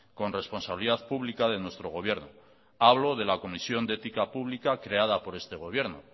con responsabilidad pública de nuestro gobierno hablo de la comisión de ética pública creada por este gobierno